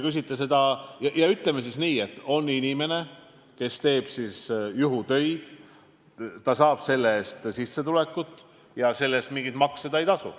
Aga ütleme siis nii, et on inimene, kes teeb vaid juhutöid, saab nende eest sissetulekut ja makse ei tasu.